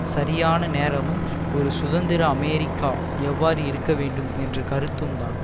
சரியான நேரமும் ஒரு சுதந்திர அமெரிக்கா எவ்வாறு இருக்க வேண்டும் என்ற கருத்தும் தான்